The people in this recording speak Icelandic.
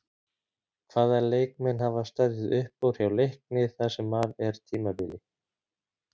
Hvaða leikmenn hafa staðið uppúr hjá Leikni það sem af er tímabili?